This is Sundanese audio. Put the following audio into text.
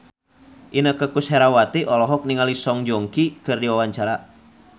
Inneke Koesherawati olohok ningali Song Joong Ki keur diwawancara